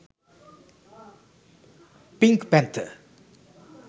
pink panther